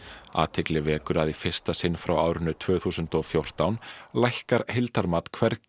athygli vekur að í fyrsta sinn frá árinu tvö þúsund og fjórtán lækkar heildarmat hvergi